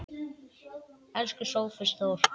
Elsku Sófus Þór.